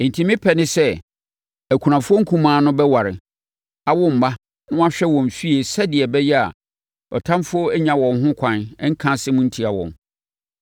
Enti me pɛ ne sɛ, akunafoɔ nkumaa no bɛware, awo mma na wɔahwɛ wɔn afie sɛdeɛ ɛbɛyɛ a atamfoɔ nnya wɔn ho ɛkwan nka nsɛm ntia wɔn.